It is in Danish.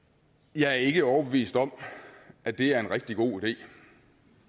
jeg er ikke overbevist om at det er en rigtig god idé